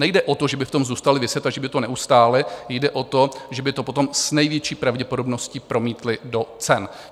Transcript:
Nejde o to, že by v tom zůstali viset a že by to neustáli, jde o to, že by to potom s největší pravděpodobností promítli do cen.